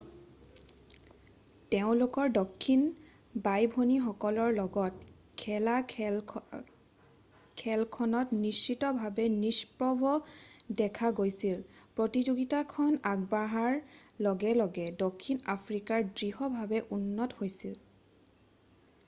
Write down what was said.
তেওঁলোকৰ দক্ষিণ বাই-ভনীসকলকৰ লগত খেলা খেলখনত নিশ্চিতভাৱে নিষ্প্ৰভ দেখা গৈছে প্ৰতিযোগিতাখন আগবঢ়াৰ লগে লগে দক্ষিণ আফ্ৰিকা দৃঢ়ভাৱে উন্নত হৈছিল